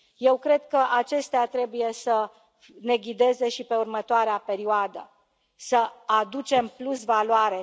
Eu cred că acestea trebuie să ne ghideze și pe următoarea perioadă, să aducem plusvaloare.